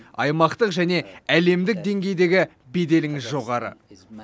аймақтық және әлемдік деңгейдегі беделіңіз жоғары